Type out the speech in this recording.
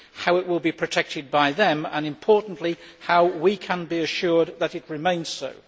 How will it be protected by them and, importantly, how can we be assured that it remains so?